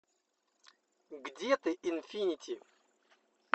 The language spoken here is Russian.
где ты инфинити